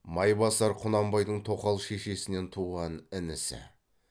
майбасар құнанбайдың тоқал шешесінен туған інісі